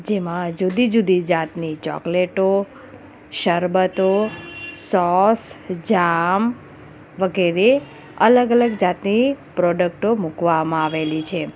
જેમાં જુદી-જુદી જાતની ચોકલેટો શરબતો સોસ જામ વગેરે અલગ-અલગ જાતની પ્રોડક્ટો મૂકવામાં આવેલી છે.